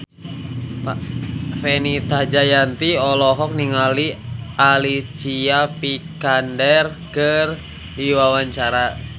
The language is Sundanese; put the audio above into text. Fenita Jayanti olohok ningali Alicia Vikander keur diwawancara